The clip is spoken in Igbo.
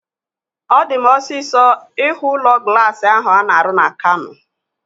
Ọ di m osisọ ihu ụlọ glaasi ahu a na-arụ na Kano